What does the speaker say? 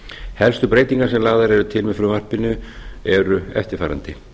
helstu breytingar sem lagðar eru til með frumvarpinu eru eftirfarandi